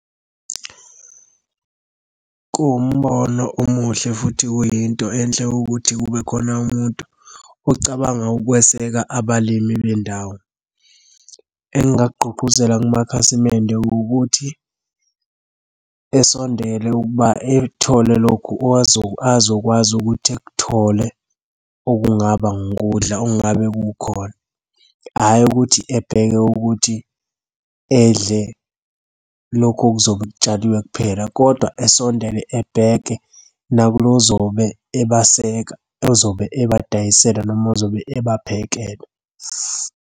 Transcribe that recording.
Kuwumbono omuhle futhi kuyinto enhle ukuthi kube khona umuntu ocabanga ukweseka abalimi bendawo. Engingakugqugquzela kumakhasimende ukuthi esondele ukuba ekuthole lokhu azokwazi ukuthi ekuthole, okungaba ngukudla okungabe kukhona. Hhayi ukuthi ebheke ukuthi edle lokhu okuzobe kutshaliwe kuphela, kodwa esondele ebheke nakulo ozobe ebeseka, ozobe ebadayisela noma ozobe ebaphekela.